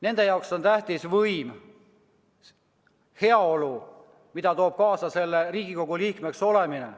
Nende jaoks on tähtis võim ja heaolu, mida toob kaasa Riigikogu liikmeks olemine.